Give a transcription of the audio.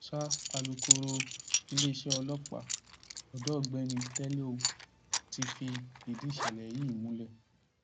sa alūkkóró iléeṣẹ ọlọpàá ọdọ ọgbẹni tèéléo ti fìdí ìṣẹlẹ yìí múlẹ